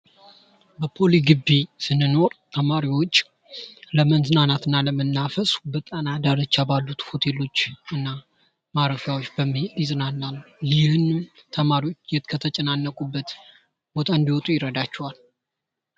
በፖሊ ግቢ ስንኖር ተማሪዎች ለመዝናናት እና ለመናፈስ በጣና ዳርቻ ባሉት ሆቴሎችና ማረፊያዎች በመሄድ ይዝናናሉ ይህም ተማሪዎች ከተጨናነቁበት ቦታ እንድወጡ ይረዳቸዋል።